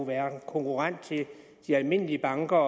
være en konkurrent til de almindelige banker